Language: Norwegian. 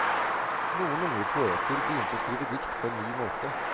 Noen unge poeter begynte å skrive dikt på en ny måte.